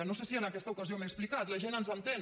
no sé si en aquesta ocasió m’he explicat la gent ens entén